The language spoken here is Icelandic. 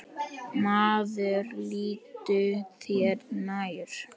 Maður líttu þér nær!